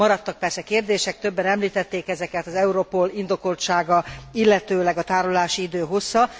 Maradtak persze kérdések, többen említették ezeket az EUROPOL indokoltsága, illetőleg a tárolási idő hossza.